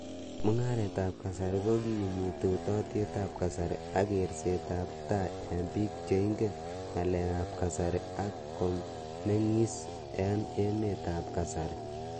Mung'aret ap kasari kokimiti utaatyeet ap kasari ak keerset ap tai eng' piik cheingen ng'alek ap kasari ak komeng'is eng' emet ap kasari.